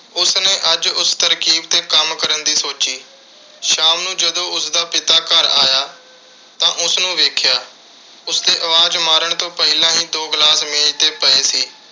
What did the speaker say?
ਉਸਨੇ ਅੱਜ ਉਸ ਤਰਕੀਬ 'ਤੇ ਕੰਮ ਕਰਨ ਦੀ ਸੋਚੀ। ਸ਼ਾਮ ਨੂੰ ਜਦੋਂ ਉਸਦਾ ਪਿਤਾ ਘਰ ਆਇਆ ਤਾਂ ਉਸਨੇ ਵੇਖਿਆ। ਉਸਦੇ ਆਵਾਜ਼ ਮਾਰਨ ਤੋਂ ਪਹਿਲਾਂ ਹੀ ਦੋ glass ਮੇਜ਼ 'ਤੇ ਪਏ ਸੀ।